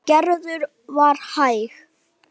En Gerður var hæg.